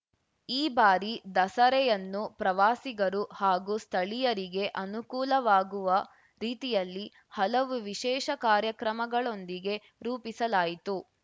ಈ ಬಾರಿ ದಸರೆಯನ್ನು ಪ್ರವಾಸಿಗರು ಹಾಗೂ ಸ್ಥಳೀಯರಿಗೆ ಅನುಕೂಲವಾಗುವ ರೀತಿಯಲ್ಲಿ ಹಲವು ವಿಶೇಷ ಕಾರ್ಯಕ್ರಮಗಳೊಂದಿಗೆ ರೂಪಿಸಲಾಯಿತು